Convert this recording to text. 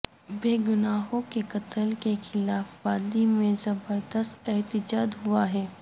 بےگناہوں کے قتل کے خلاف وادی میں زبردست احتجاج ہوا ہے